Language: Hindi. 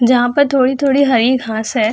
जहाँ पर थोड़ी-थोड़ी हरी घास हैं।